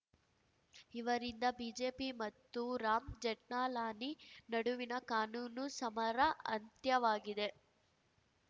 ಇವರಿಂದ ಬಿಜೆಪಿ ಮತ್ತು ರಾಮ್‌ ಜೇಠ್ನಾಲಾನಿ ನಡುವಿನ ಕಾನೂನು ಸಮರ ಅಂತ್ಯವಾಗಿದೆ